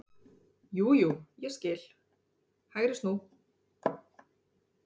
Jú, jú ég skil, HÆGRI snú.